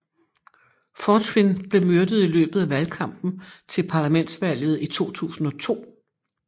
Fortuyn blev myrdet i løbet af valgkampen til parlamentsvalget i 2002